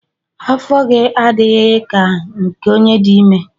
Afọ gị adịghị ka nke onye dị ime.